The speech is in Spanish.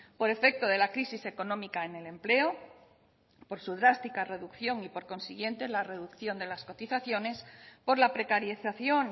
por efecto de la crisis económica en el empleo por su drástica reducción y por consiguiente la reducción de las cotizaciones por la precarización